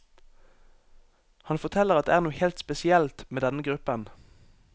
Han forteller at det er noe helt spesielt med denne gruppen.